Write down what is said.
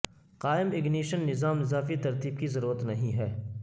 قائم اگنیشن نظام اضافی ترتیب کی ضرورت نہیں ہے